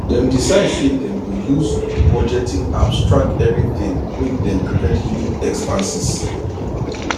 dem decide say dem go use budgeting apps track everything make dem prevent hidden expanses